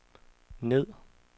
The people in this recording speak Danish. ned